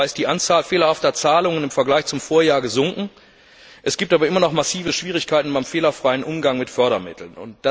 Zwar ist die Anzahl fehlerhafter Zahlungen im Vergleich zum Vorjahr gesunken, es gibt aber immer noch massive Schwierigkeiten beim fehlerfreien Umgang mit Fördermitteln.